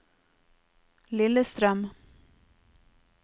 Lillestrøm